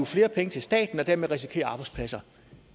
flere penge til staten og dermed risikere arbejdspladser